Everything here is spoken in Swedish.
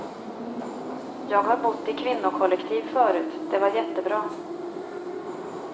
Jag har bott i kvinnokollektiv förut, det var jättebra.